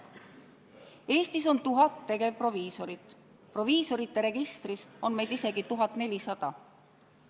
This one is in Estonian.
Eestis on 1000 tegevproviisorit, proviisorite registris on meid isegi 1400.